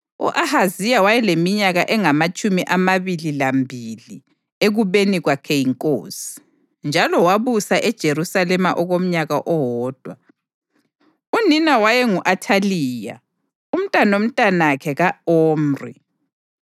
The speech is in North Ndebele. U-Ahaziya wayeleminyaka engamatshumi amabili lambili ekubeni kwakhe yinkosi, njalo wabusa eJerusalema okomnyaka owodwa. Unina wayengu-Athaliya, umntanomntanakhe ka-Omri.